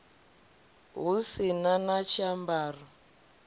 hu si na na tshiambaro